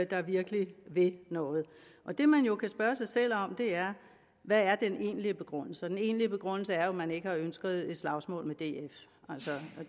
der virkelig vil noget og det man jo kan spørge sig selv om er hvad er den egentlige begrundelse og den egentlige begrundelse er jo at man ikke har ønsket et slagsmål med df